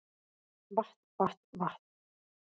Vatn vatn vatn